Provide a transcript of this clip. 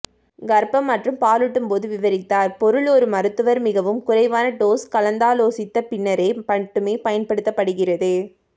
கர்ப்பம் மற்றும் பாலூட்டும்போது விவரித்தார் பொருள் ஒரு மருத்துவர் மிகவும் குறைவான டோஸ் கலந்தாலோசித்த பின்னரே மட்டுமே பயன்படுத்தப்படுகிறது